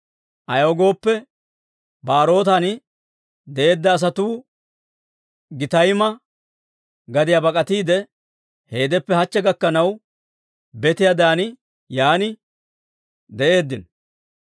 ayaw gooppe, Ba'erootan de'eedda asatuu Gittayma gadiyaa bak'atiide, heedeppe hachche gakkanaw betiyaadan yaan de'eeddino.